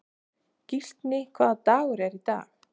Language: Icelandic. Gíslný, hvaða dagur er í dag?